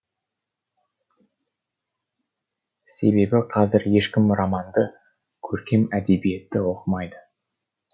себебі қазір ешкім романды көркем әдебиетті оқымайды